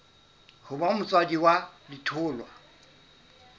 ho ba motswadi wa letholwa